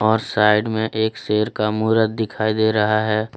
और साइड में एक शेर का मूरत दिखाई दे रहा है।